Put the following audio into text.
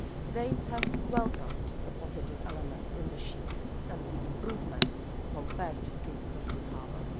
They have welcomed the positive elements in the shield and the improvements compared to the Safe Harbour.